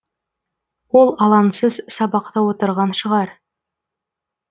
ол алаңсыз сабақта отырған шығар